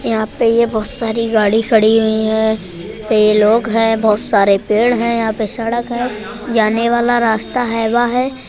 यहाँ पे ये बहोत सारी गाड़ी खड़ी हुई हैं। ये लोग है बहोत सारे पेड़ है यहाँ पे सड़क है जाने वाला रास्ता हैबा है।